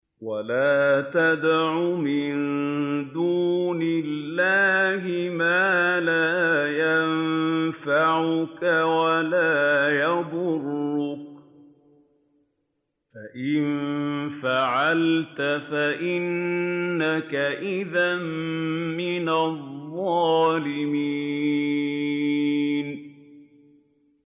وَلَا تَدْعُ مِن دُونِ اللَّهِ مَا لَا يَنفَعُكَ وَلَا يَضُرُّكَ ۖ فَإِن فَعَلْتَ فَإِنَّكَ إِذًا مِّنَ الظَّالِمِينَ